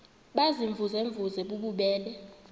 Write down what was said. baziimvuze mvuze bububele